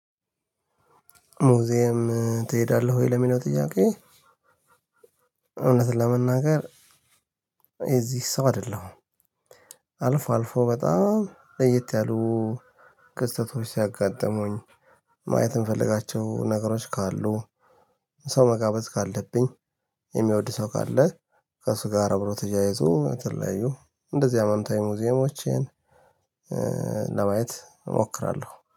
ሙዚየም ትሄዳለህ ወይ ለሚለው ጥያቄ? እውነት ለመናገር የእዚህ ሰው አይደለሁም። አልፎ አልፎ በጣም ለየት ያሉ ክስተቶች ሲያጋጥሙኝ። ማየት የምፈልጋቸው ነገሮች ካሉ። ሰው መጋበዝ ካለብኝ። የሚወድ ሰው ካለ። ከእሱ ጋር አብሮ ተያይዞ የተለያዩ እንደዚህ ሃይማኖታዊ ሙዚየሞችን ለማየት እሞክራለሁ